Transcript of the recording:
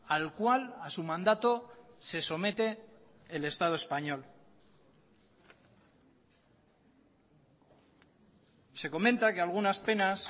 al cual a su mandato se somete el estado español se comenta que algunas penas